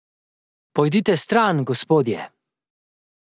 Pojdite stran, gospodje.